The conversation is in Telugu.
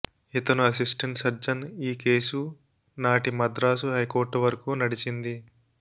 ఇతను అసిస్టెంట్ సర్జన్ ఈ కేసు నాటి మద్రాసు హైకోర్టువరకు నడిచింది